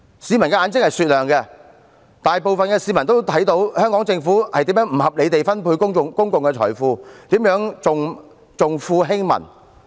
市民的眼睛是雪亮的，大部分市民都見到特區政府如何不合理地分配公共財富，以及如何重富輕民。